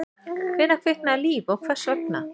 Hvenær kviknaði líf og hvers vegna?